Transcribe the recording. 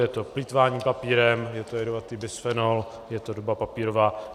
Je to plýtvání papírem, je to jedovatý bisfenol, je to doba papírová.